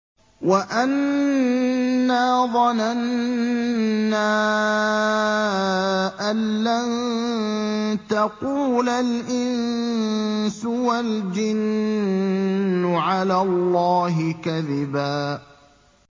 وَأَنَّا ظَنَنَّا أَن لَّن تَقُولَ الْإِنسُ وَالْجِنُّ عَلَى اللَّهِ كَذِبًا